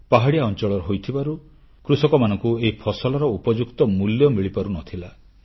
ପାହାଡ଼ିଆ ଅଂଚଳ ହୋଇଥିବାରୁ କୃଷକମାନଙ୍କୁ ଏହି ଫସଲର ଉପଯୁକ୍ତ ମୂଲ୍ୟ ମିଳିପାରୁନଥିଲା